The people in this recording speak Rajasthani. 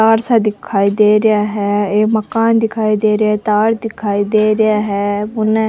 पहाड़ सा दिखाई दे रहे है ये माकन दिखाई दे रहे है तार दिखाई दे रहे है उन --